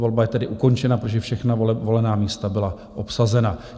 Volba je tedy ukončena, protože všechna volená místa byla obsazena.